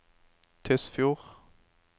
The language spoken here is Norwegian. Tysfjord